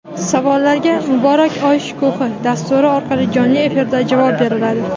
Savollarga "Muborak oy shukuhi" dasturi orqali jonli efirda javob beriladi.